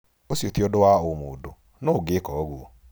Ũcio ti ũndũ wa ũmũndũ, nũũ ũngĩka ũguo?